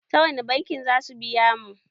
Ta wani banki za su biya mu?